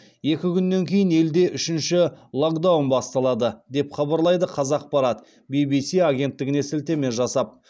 екі күннен кейін елде үшінші локдаун басталады деп хабарлайды қазақпарат ввс агенттігіне сілтеме жасап